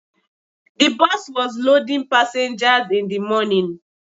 The bus was loading passengers in the morning